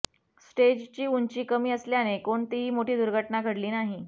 स्टेजची उंची कमी असल्याने कोणतीही मोठी दुर्घटना घडली नाही